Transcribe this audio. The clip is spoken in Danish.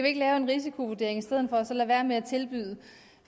ikke lave en risikovurdering i stedet for og så lade være med at tilbyde